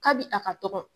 Kabi a ka dɔgɔ